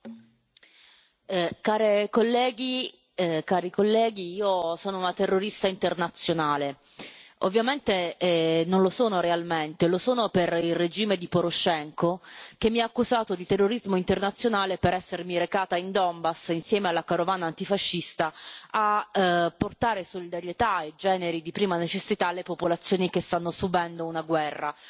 Signora Presidente, onorevoli colleghi, io sono una terrorista internazionale. Ovviamente non lo sono realmente, lo sono per il regime di Poroshenko, che mi ha accusato di terrorismo internazionale per essermi recata in Donbass insieme alla carovana antifascista a portare solidarietà e generi di prima necessità alle popolazioni che stanno subendo una guerra.